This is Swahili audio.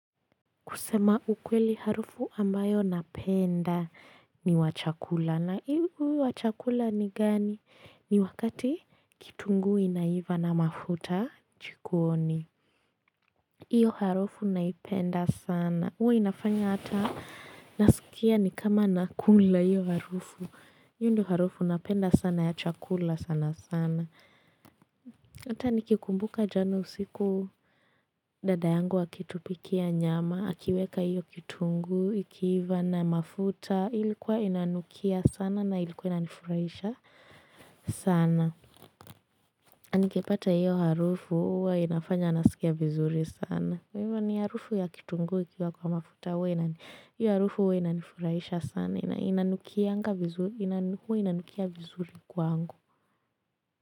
Kusema ukweli harufu ambayo napenda ni wachakula. Na hii huu wachakula ni gani? Ni wakati kitunguu inaiva na mafuta jikoni. Iyo harufu naipenda sana. Huwa inafanya hata naskia ni kama nakula hiyo harufu. Hiyo ndo harufu napenda sana ya chakula sana sana. Hata nikikumbuka jana usiku dada yangu akitupikia nyama. Akiweka hiyo kitunguu, ikiiva na mafuta, ilikuwa inanukia sana na ilikuwa inanifurahisha sana. Na nikipata hiyo harufu, huwa inafanya nasikia vizuri sana. Kwa hivyo harufu ya kitunguu, ikiwa kwa mafuta huwa, hiyo harufu huwa inanifurahisha sana.inanukianga vizuri huwa inanukia vizuri kwangu.